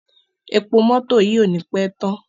Epo mótò yìí ò ní pé tán.